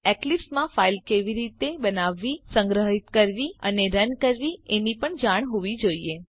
અને તમને એક્લીપ્સ માં ફાઈલ કેવી રીતે બનાવવી સંગ્રહીત કરવી અને રન કરવી એની જાણ હોવી જોઈએ